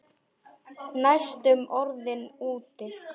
Næstum orðinn úti